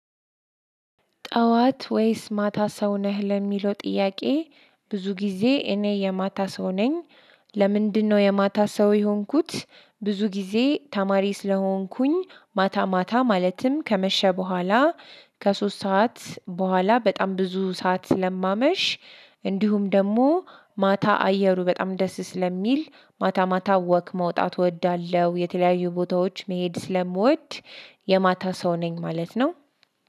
ጠዋት ወይስ ማታ ሰው ነህ ለሚለው ጥያቄ ብዙ ጊዜ እኔ የማታ ሰው ነኝ። ለምንድነው የማታ ሰው የሆንኩት? ብዙ ጊዜ ተማሪ ስለሆንኩኝ ማታ ማታ ማለትም ከመሸ በኋላ ከሶስት ሰዓት በኋላ በጣም ብዙ ሰዓት ስለማመሽ። እንዲሁም ደግሞ ማታ አየሩ በጣም ደስ ስለሚል ማታ ማታ ወክ መውጣት እወዳለሁ። የተለያዩ ቦታዎች መሄድ ስለምወድ። የማታ ሰው ነኝ ማለት ነው።